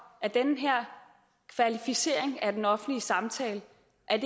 at den her kvalificering af den offentlige samtale